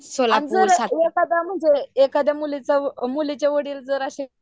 आणि जार एखादा म्हणजे एखाद्या मुलीचा वडील जर अशे